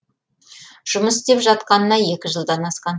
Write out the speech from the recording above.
жұмыс істеп жатқанына екі жылдан асқан